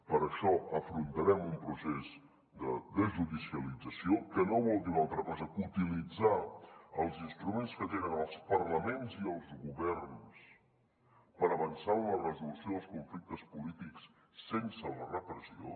per això afrontarem un procés de desjudicialització que no vol dir una altra cosa que utilitzar els instruments que tenen els parlaments i els governs per avançar en la resolució dels conflictes polítics sense la repressió